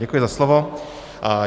Děkuji za slovo.